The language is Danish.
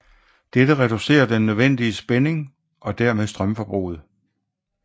Dette reducerer den nødvendige spænding og dermed strømforbruget